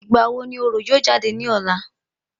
Ìgbà wo ni orò yóò jáde ní ọ̀la?